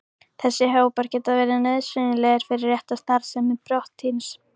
Þessir hópar geta verið nauðsynlegir fyrir rétta starfsemi prótíns.